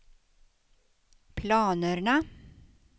planerna